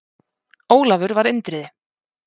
Ólafur var Indriði.